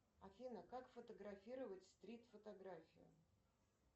афина как фотографировать стрит фотографию